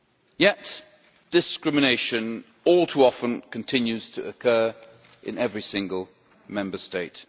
Yet discrimination all too often continues to occur in every single Member State.